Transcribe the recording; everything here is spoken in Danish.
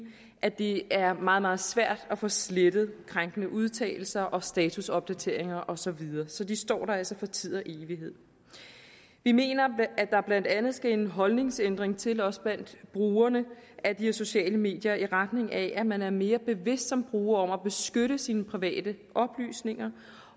at det er meget meget svært at få slettet krænkende udtalelser og statusopdateringer og så videre så de står der altså for tid og evighed vi mener at der blandt andet skal en holdningsændring til også blandt brugerne af de her sociale medier i retning af at man er mere bevidst som bruger om at beskytte sine private oplysninger